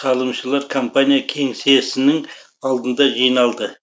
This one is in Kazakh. салымшылар компания кеңсесінің алдында жиналды